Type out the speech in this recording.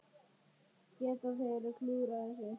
Geta þeir klúðrað þessu?